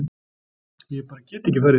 Ég bara get ekki farið